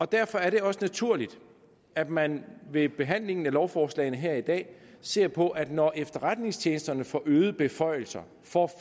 derfor er det også naturligt at man ved behandlingen af lovforslagene her i dag ser på at når efterretningstjenesterne får øgede beføjelser får